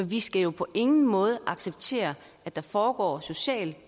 vi skal jo på ingen måde acceptere at der foregår social